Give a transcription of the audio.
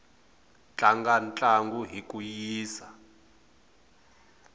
tlanga ntlangu hi ku yisa